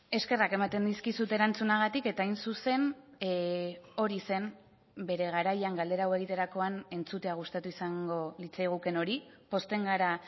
eskerrak ematen dizkizut erantzunagatik eta hain zuzen hori zen bere garaian galdera hau egiterakoan entzutea gustatu izango litzaigukeen hori pozten gara